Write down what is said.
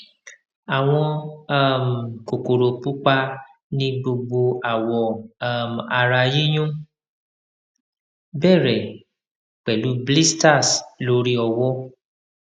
awon um kokoro pupa ni gbogbo awo um ara yiyun bere pelu blisters lori owo